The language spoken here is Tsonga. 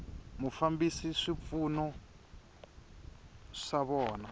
ku fambisa swipfuno swa vona